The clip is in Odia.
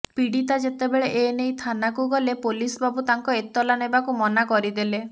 ପୀଡିତା ଯେତେବେଳେ ଏନେଇ ଥାନାକୁ ଗଲେ ପୋଲିସ୍ ବାବୁ ତାଙ୍କ ଏତଲା ନେବାକୁ ମନା କରିଦେଲେ